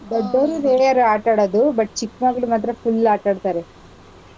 ದೊಡ್ಡೋರು rare ಆಟಾಡೋದು, but ಚಿಕ್ ಮಕ್ಳ್ ಮಾತ್ರ full ಆಟಾಡ್ತಾರೆ.